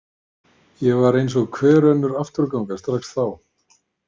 Ég var eins og hver önnur afturganga strax þá.